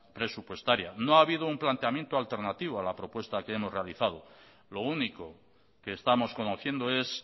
presupuestaria no ha habido un planteamiento alternativo a la propuesta que hemos realizado lo único que estamos conociendo es